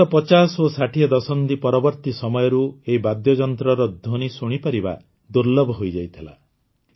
ବିଗତ ୫୦ ଓ ୬୦ ଦଶନ୍ଧି ପରବର୍ତୀ ସମୟରୁ ଏହି ବାଦ୍ୟଯନ୍ତ୍ରର ଧ୍ୱନି ଶୁଣିପାରିବା ଦୁର୍ଲ୍ଲଭ ହୋଇଯାଇଥିଲା